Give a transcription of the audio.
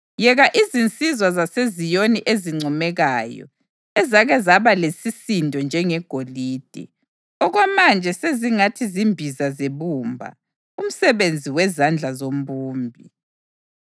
Yeka izinsizwa zaseZiyoni ezincomekayo, ezake zaba lesisindo njengegolide, okwamanje sezingathi zimbiza zebumba, umsebenzi wezandla zombumbi!